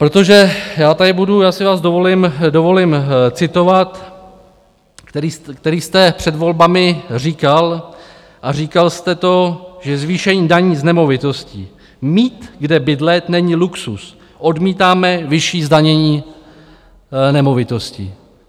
Protože já tady budu, já si vás dovolím citovat, který jste před volbami říkal a říkal jste to, že zvýšení daní z nemovitosti - mít kde bydlet není luxus, odmítáme vyšší zdanění nemovitostí.